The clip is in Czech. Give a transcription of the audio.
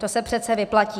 To se přece vyplatí.